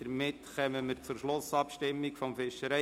Damit kommen wir zur Schlussabstimmung zum FiG.